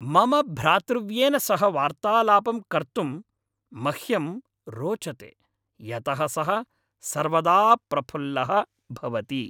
मम भ्रातृव्येन सह वार्तालापं कर्तुं मह्यं रोचते, यतः सः सर्वदा प्रफुल्लः भवति।